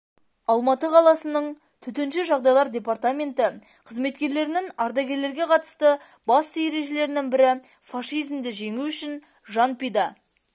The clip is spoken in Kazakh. алматы қаласының төтенше жағдайлар департаменті қызметкерлерінің ардагерлерге қатысты басты ережелерінің бірі фашизмді жеңу үшін жан пида